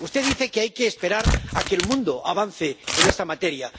Usted dice que hay que esperar a que el mundo avance en esta materia.